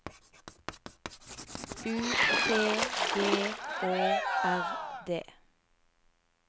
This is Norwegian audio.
U T G Å R D